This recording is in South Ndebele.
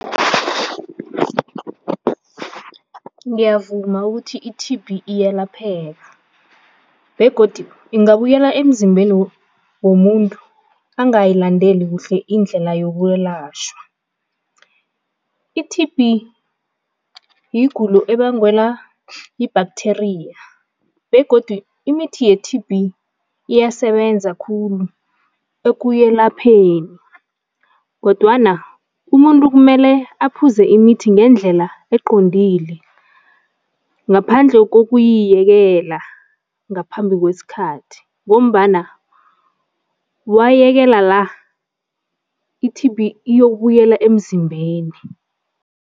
Ngiyavuma ukuthi i-T_B iyalapheke begodi ingabuyela emzimbeni womuntu angayilandele kuhle indlela yokwelashwa. I-T_B yigulo ebangwela yi-bacteria begodu imithi ye-T_B iyasebenza khulu ekuyelapheni kodwana umuntu kumele aphuze imithi ngendlela eqondile, ngaphandle kokuyiyekela ngaphambi kwesikhathi ngombana wayiyekela la, iT_B iyokubuyela emzimbeni.